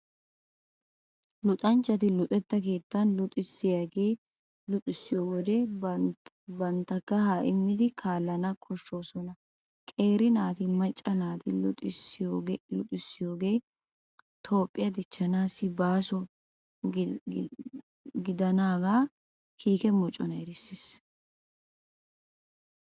Luxanchchati luxetta keettan luxissiyaagee luxissiyo wode bantta kahaa immidi kaallana koshshoosona. Qeeri naatanne macca naata luxissiyoogee Toophphiyaa dichchaassi baaso gidanaagaa kiike moconay erissiis.